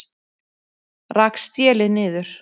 Rak stélið niður